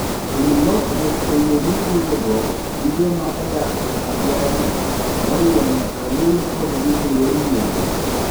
Tim lokruok e yo miwuoyogo gi joma odak e alworano, moriwo nyaka wuoyo kodgi e yor muolo.